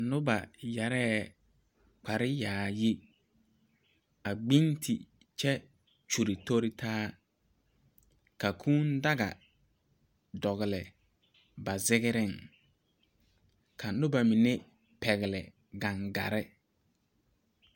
Nuba yaree kpare yaayi a gbinti kye kyuli tori taa ka kũũ daga dɔgli ba zigrin ka nuba mene pɛgle gangari